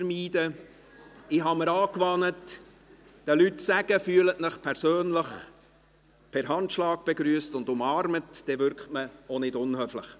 Ich habe mir angewöhnt, den Leuten zu sagen, «Fühlen Sie sich persönlich per Handschlag begrüsst und umarmt», dann wirkt man auch nicht unhöflich.